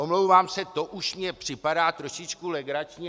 Omlouvám se, to už mně připadá trošičku legrační.